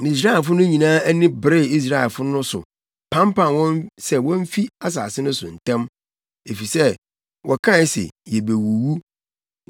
Misraimfo no nyinaa ani beree Israelfo no so pampam wɔn sɛ womfi asase no so ntɛm, efisɛ wɔkae se, “Yebewuwu.”